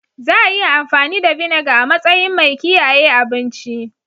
Za a iya amfani da Vinegar a matsayin mai kiyaye abinci.